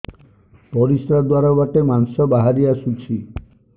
ପରିଶ୍ରା ଦ୍ୱାର ବାଟେ ମାଂସ ବାହାରି ଆସୁଛି